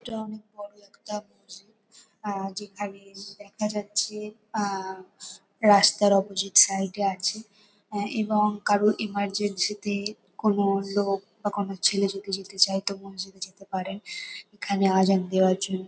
এটা অনেক বড়ো একটা মসজিদ আ যেখানে দেখা যাচ্ছে আ রাস্তার অপজিট সাইড -এ আছে এ এবং কারোর এমার্জেন্সি -তে কোনো লোক বা কোনো ছেলে যদি যেতে চায় তো মসজিদে যেতে পারেন এখানে আজান দেওয়ার জন্য।